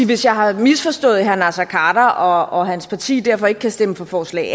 hvis jeg har misforstået herre naser khader og hans parti derfor ikke kan stemme for forslag a